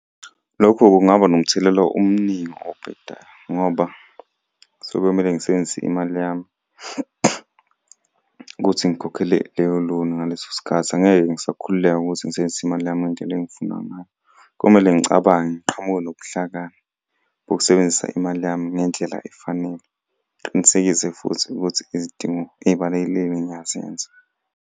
Lokho kungaba nomthelela omuningi obhedayo, ngoba sekuyomele ngisebenzise imali yami ukuthi ngikhokhele leyo loan ngaleso sikhathi. Angeke ngisakhululeka ukuthi ngisebenzise imali yami ngendlela engifuna ngayo. Komele ngicabange, ngiqhamuke nobuhlakani bokusebenzisa imali yami ngendlela efanele. Ngiqinisekise futhi ukuthi izidingo ey'balulekile ngiyazenza.